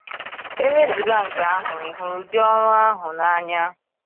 E wezụga nke ahụ, ị hụrụ ụdị ọrụ ahụ n’anya.